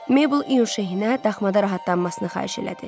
Maybel İyun Şehinə daxmada rahatlanmasını xahiş elədi.